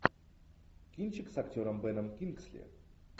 кинчик с актером беном кингсли